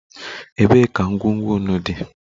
Ebee ka ngwugwu nnu dị?